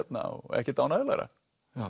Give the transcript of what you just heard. ekkert ánægjulegra